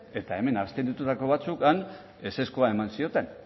eta hemen abstenitutako batzuk han ezezkoa eman zioten